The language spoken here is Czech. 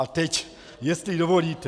A teď jestli dovolíte...